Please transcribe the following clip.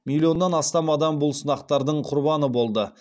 миллионнан астам адам бұл сынақтардың құрбаны болды